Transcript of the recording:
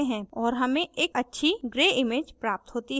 और हमें एक अच्छी gray image प्राप्त होती है